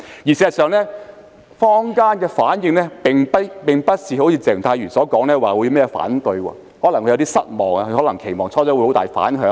事實上，坊間的反應並不如鄭松泰議員所說般會提出反對，他可能會有點失望，因他最初可能期望會有很大的反響。